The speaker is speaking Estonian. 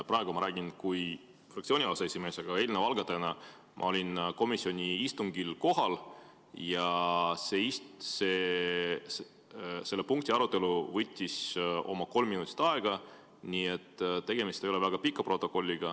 Praegu ma räägin kui fraktsiooni aseesimees, aga eelnõu algatajana ma olin komisjoni istungil kohal ja selle punkti arutelu võttis oma kolm minutit aega, nii et tegemist ei ole väga pika protokolliga.